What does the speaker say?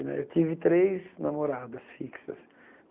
Né eu tive três namoradas fixas.